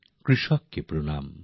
কৃষককে প্রণাম